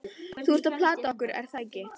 Þú ert að plata okkur, er það ekki?